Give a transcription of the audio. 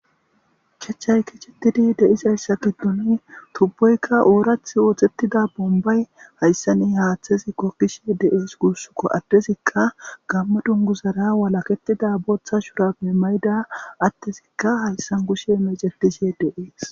Chachay kicetidi deizayssa gidduni tubboykka oorath wooththettida bombay hayssanni haaththezi kokkishe deees gursuko addezikka gamma dungu zara walaketida booththa shura mimayda attezikka hayssan kushe mecetishe deees.